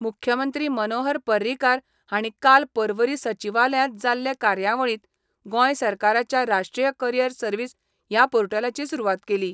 मुख्यमंत्री मनोहर पर्रीकार हांणी काल पर्वरी सचिवालयांत जाल्ले कार्यावळींत गोंय सरकाराच्या राष्ट्रीय करीयर सर्वीस ह्या पोर्टलाची सुरवात केली.